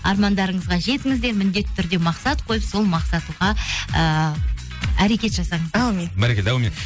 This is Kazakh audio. армандарыңызға жетіңіздер міндетті түрде мақсат қойып сол мақсатқа ыыы әрекет жасаңыздар әумин бәрекелді әумин